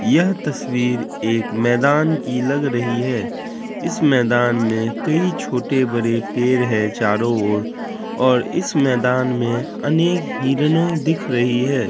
यह तस्वीर एक मैदान की लग रही है इस मैदान मे कई छोटे-बड़े पेड़ है चारों ओर और इस मैदान मे अनेक हिरनो दिख रही है।